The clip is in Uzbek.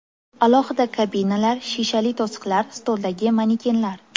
Alohida kabinalar, shishali to‘siqlar, stoldagi manekenlar.